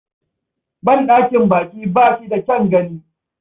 Banɗakin baƙi ba shi da kyan gani.